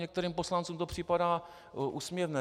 Některým poslancům to připadá úsměvné.